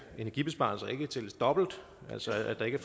energibesparelser ikke tælles dobbelt altså at der ikke